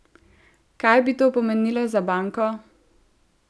Kaj bi to pomenilo za banko?